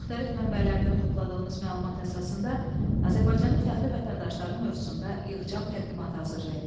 Müxtəlif mənbələrdən topladığınız məlumat əsasında Azərbaycanın fəxri vətəndaşları mövzusunda yığcam təqdimatı hazırlayın.